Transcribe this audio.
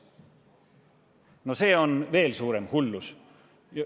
No see on veel suurem hullus.